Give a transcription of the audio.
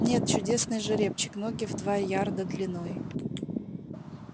нет чудесный жеребчик ноги в два ярда длиной